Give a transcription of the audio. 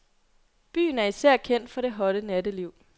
Byen er især kendt for det hotte natteliv.